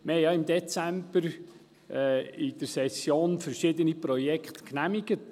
Wir haben ja im Dezember in der Session verschiedene Projekte genehmigt.